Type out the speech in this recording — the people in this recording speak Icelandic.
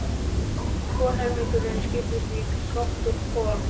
Hvor helmingurinn skiptist í gátt og hvolf.